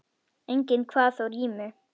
Enginn kvað þó rímu.